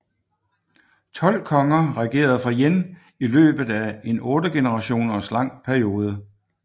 Tolv konger regerede fra Yin i løbet af en otte generationer lang periode